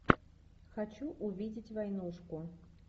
хочу увидеть войнушку